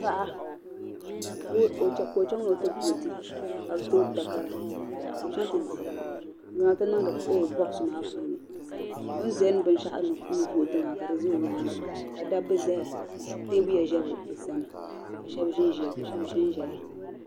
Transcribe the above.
Paɣa ka ɔ chaŋ ni ɔ ti vooti ka bi too takara ka ɔchaŋ ti dihi ɔnuu n zaŋ chaŋ tinsi box maa puuni. ɔzaŋ bɛ n shaɣu n vooti maa ka di za ɔ nyaaŋa ka daba ʒɛ ɔ sani. ka teebuya ʒɛ ɔcsani , kashabi ʒɛn ʒɛya ka shabi ʒinʒiya